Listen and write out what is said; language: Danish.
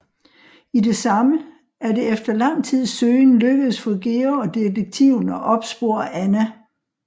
I det samme er det efter lang tids søgen lykkedes for Georg og detektiven at opspore Anna